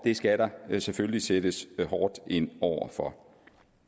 skal der selvfølgelig sættes hårdt ind over for